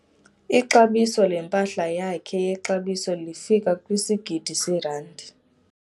Ixabiso lempahla yakhe yexabiso lifika kwisigidi seerandi.